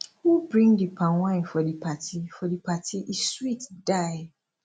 who bring di palmwine for di party for di party e sweet die